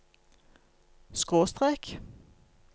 skråstrek